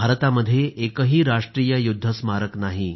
भारतामध्ये एकही राष्ट्रीय युद्ध स्मारक नाही